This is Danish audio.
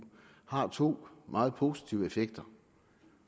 har to meget positive effekter